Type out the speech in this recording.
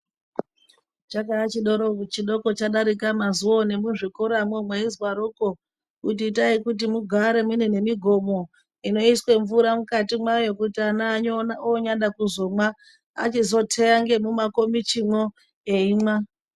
Chakaa chidoko chadarika mazuwawo nemuzvikoramwo mweizwaroko. Kuti itai kuti mugare mune nemigomo inoiswe mvura mukati mwayo kuti ana onyada kuzomwa achizoteya ngemumakomichimwo eimwa.